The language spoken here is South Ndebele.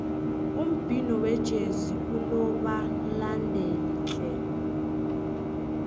umbhino wejezi unobalandeli tle